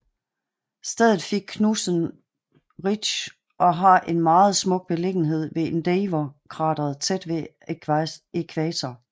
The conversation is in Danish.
Stedet fik navnet Knudsen Ridge og har en meget smuk beliggenhed ved Endeavour Krateret tæt ved ækvator